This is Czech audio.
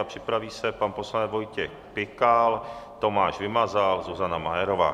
A připraví se pan poslanec Vojtěch Pikal, Tomáš Vymazal, Zuzana Majerová.